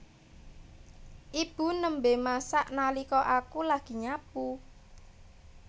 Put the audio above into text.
Ibu nembe masak nalika aku lagi nyapu